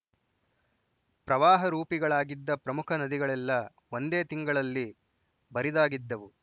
ಪ್ರವಾಹ ರೂಪಿಗಳಾಗಿದ್ದ ಪ್ರಮುಖ ನದಿಗಳೆಲ್ಲ ಒಂದೇ ತಿಂಗಳಲ್ಲಿ ಬರಿದಾಗಿದ್ದವು